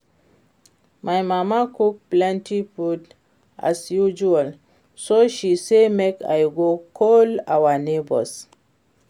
My mama cook plenty food as usual so she say make I go call our neighbours